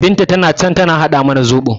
Binta tana can tana haɗa mana zoɓo